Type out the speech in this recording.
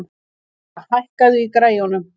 Gurra, hækkaðu í græjunum.